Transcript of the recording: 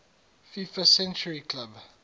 fifa century club